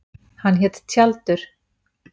Hann hét Tjaldur.